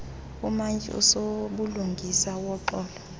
umantyi usobulungisa woxolo